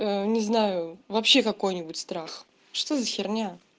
ээ не знаю вообще какой-нибудь страх что за херня